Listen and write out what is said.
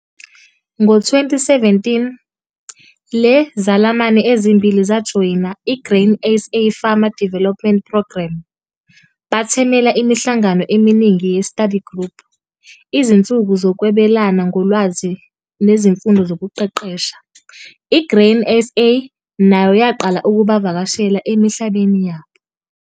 Ngo-2017, le zelamani ezimbili zajoyina i-Grain SA Farmer Development Programme. Bathemela imihlangano eminingi ye-study group, izinsuku zokwabelana ngolwazi nezifundo zokuqeqesha. I-Grain SA nayo yaqala ukubavakashela emihlabeni yabo.